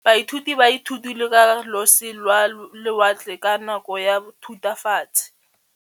Baithuti ba ithutile ka losi lwa lewatle ka nako ya Thutafatshe.